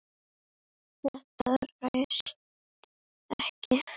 Þetta rættist ekki.